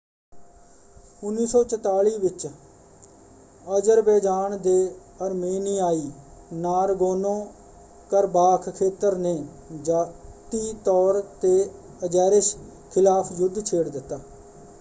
1944 ਵਿੱਚ ਅਜ਼ਰਬੈਜਾਨ ਦੇ ਅਰਮੇਨੀਆਈ ਨਾਰਗੋਨੋ-ਕਰਬਾਖ਼ ਖੇਤਰ ਨੇ ਜਾਤੀ ਤੌਰ 'ਤੇ ਅਜ਼ੇਰਿਸ ਖ਼ਿਲਾਫ਼ ਯੁੱਧ ਛੇੜ ਦਿੱਤਾ।